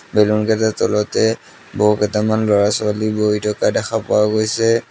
বেলুনকেইটাৰ তলতে বহুকেইটামান ল'ৰা-ছোৱালী বহি থকা দেখা পোৱা গৈছে।